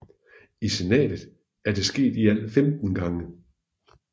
I Senatet er det sket i alt 15 gang